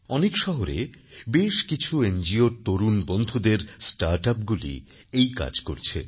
অনেক শহরে বেশ কিছু এনজিওর তরুণ বন্ধুদের স্টার্টআপগুলি এই কাজ করছে